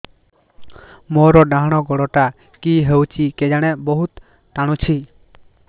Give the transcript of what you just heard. ମୋର୍ ଡାହାଣ୍ ଗୋଡ଼ଟା କି ହଉଚି କେଜାଣେ ବହୁତ୍ ଟାଣୁଛି